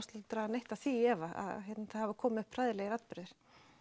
draga neitt af því í efa það hafa komið upp hræðilegir atburðir